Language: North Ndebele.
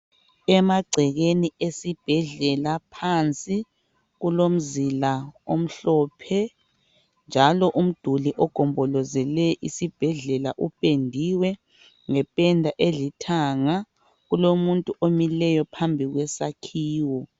Emagcekeni esibhedlela phansi kulomzila omhlophe njalo umduli ogombolozele isibhedlela upendiwe ngependa elithanga. Kulomuntu omileyo phambi kwesakhiwo.